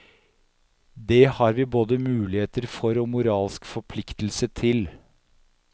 Det har vi både mulighet for og moralsk forpliktelse til.